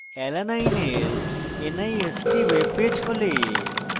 alanine এর nist webpage খোলে